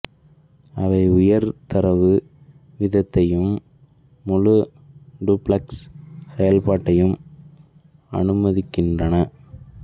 அவை உயர் தரவு வீதத்தையும் முழு டூப்ளக்ஸ் செயல்பாட்டையும் அனுமதிக்கின்றன